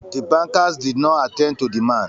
The bankers did not attend to the man